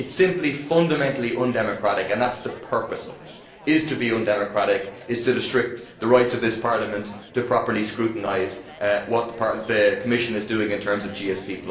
It is simply fundamentally undemocratic and that is the purpose of it to be undemocratic and to restrict the rights of this Parliament to properly scrutinise what the Commission is doing in terms of GSP.